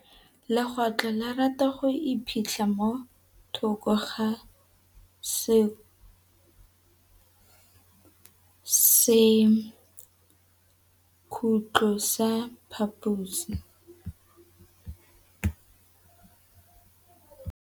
Legôtlô le rata go iphitlha mo thokô ga sekhutlo sa phaposi.